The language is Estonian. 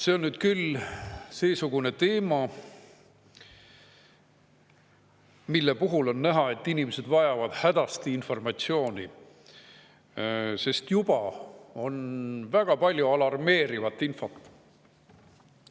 See on nüüd küll seesugune teema, mille puhul on näha, et inimesed vajavad hädasti informatsiooni, sest juba on väga palju alarmeerivat infot.